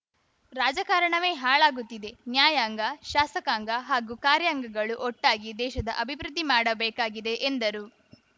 ರಾಜಕಾರಣವೇ ಹಾಳಾಗುತ್ತಿದೆ ನ್ಯಾಯಾಂಗ ಶಾಸಕಾಂಗ ಹಾಗೂ ಕಾರ್ಯಾಂಗಗಳು ಒಟ್ಟಾಗಿ ದೇಶದ ಅಭಿವೃದ್ಧಿ ಮಾಡಬೇಕಾಗಿದೆ ಎಂದರು